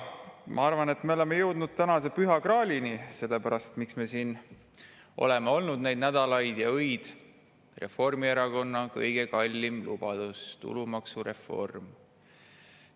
Ma arvan, et me oleme jõudnud tänase püha graalini, mille pärast me oleme siin olnud nädalaid ja öid – Reformierakonna kõige kallim lubadus, tulumaksureform.